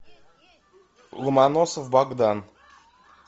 ломоносов богдан